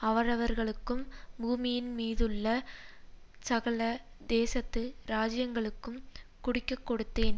அவரவர்களுக்கும் பூமியின்மீதுள்ள சகல தேசத்து ராஜ்யங்களுக்கும் குடிக்கக்கொடுத்தேன்